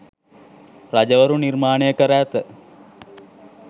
රජවරු නිර්මාණය කර ඇත.